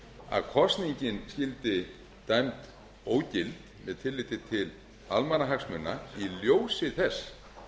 að kosningin skyldi dæmd ógild með tilliti til almannahagsmuna í ljósi þess